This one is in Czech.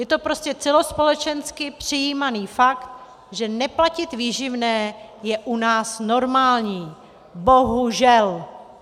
Je to prostě celospolečensky přijímaný fakt, že neplatit výživné je u nás normální. Bohužel.